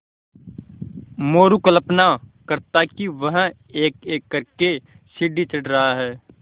मोरू कल्पना करता कि वह एकएक कर के सीढ़ी चढ़ रहा है